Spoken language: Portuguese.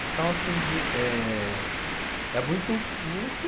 Então, assim de, é... é muito isso.